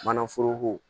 Manaforoko